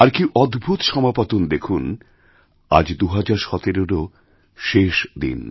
আর কী অদ্ভুত সমাপতন দেখুন আজ২০১৭রও শেষ দিন